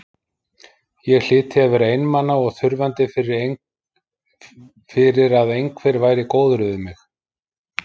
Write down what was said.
Ég hlyti að vera einmana og þurfandi fyrir að einhver væri góður við mig.